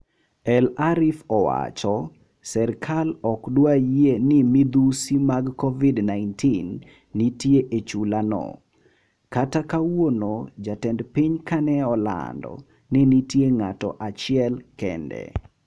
"El-Arif owacho" serkal ok dwar yie ni midhusi mag kovid 19 nitie e chulano, kata kawuono jatend piny kaneolando ni nitie ng'ato achiel kende.